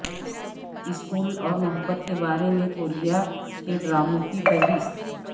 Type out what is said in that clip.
school اور محبت کے بارے میں کوریا کے ڈراموں کی فہرست